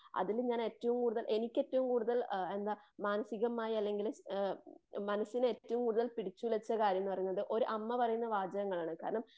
അതിന് ഞാൻ ഏറ്റവും കൂടുതൽ എനിക്ക് ഏറ്റവും കൂടുതൽ എന്താ മാനസീകമായി അല്ലങ്കില് മനസിനെ ഏറ്റവും കൂടുതൽ പിടിച്ചുലച്ച കാര്യമെന്ന് പറയുന്നത് ഒരു അമ്മ പറയുന്ന വാചകങ്ങളാണ്. കാരണം